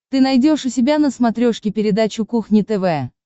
ты найдешь у себя на смотрешке передачу кухня тв